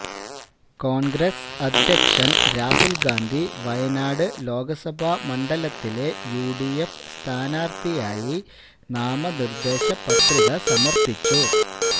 കോണ്ഗ്രസ് അധ്യക്ഷന് രാഹുൽ ഗാന്ധി വയനാട് ലോക്സഭാ മണ്ഡലത്തിലെ യുഡിഎഫ് സ്ഥാനാര്ത്ഥിയായി നാമനിര്ദ്ദേശ പത്രിക സമര്പ്പിച്ചു